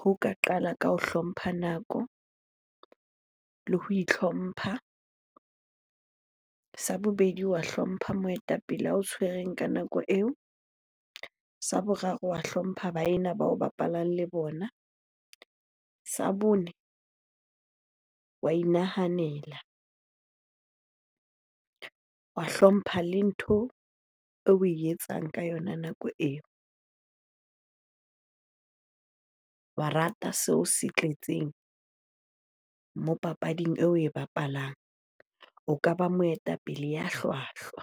ho ka qala ka ho hlompha nako le ho itlhompha. Sa bobedi, wa hlompha moetapele ao tshwereng ka nako eo. Sa boraro, wa hlompha baena bao bapalang le bona. Sa bone, wa inahanela, wa hlompha le ntho oe etsang ka yona nako, wa rata seo se tletseng moo papading eo oe bapalang. O ka ba moetapele ya hlwahlwa.